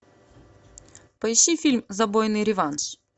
поищи фильм забойный реванш